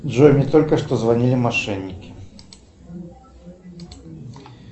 джой мне только что звонили мошенники